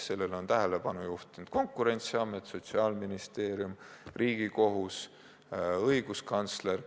Sellele on tähelepanu juhtinud Konkurentsiamet, Sotsiaalministeerium, Riigikohus, õiguskantsler.